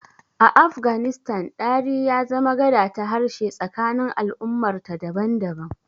A Afganistan, Dari ya zama gada ta harshe tsakanin al'ummarta daban-daban.